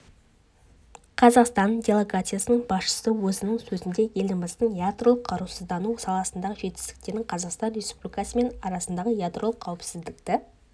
қазақстан делегациясының басшысы өзінің сөзінде еліміздің ядролық қарусыздану саласындағы жетістіктерін қазақстан республикасы мен арасындағы ядролық қауіпсіздікті